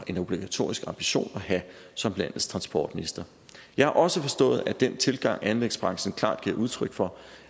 en obligatorisk ambition at have som landets transportminister jeg har også forstået at den tilgang anlægsbranchen klart giver udtryk for